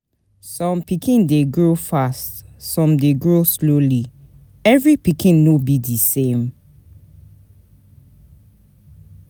some pikin de grow fast some de grow slowly every pikin no be din same